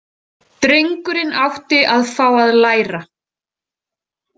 Drengurinn átti að fá að læra.